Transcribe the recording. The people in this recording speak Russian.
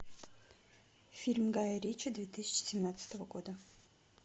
фильм гая ричи две тысячи семнадцатого года